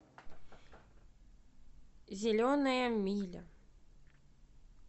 зеленая миля